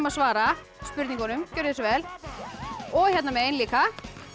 svara spurningunum gjörið svo vel og hérna megin líka